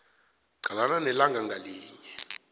qalana nelanga ngalinye